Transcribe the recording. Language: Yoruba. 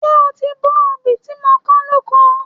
Ṣé o ti bó obì tí mo kán lóko?